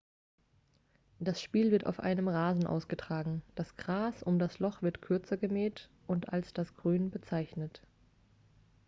das spiel wird auf einem rasen ausgetragen das gras um das loch wird kürzer gemäht und als das grün bezeichnet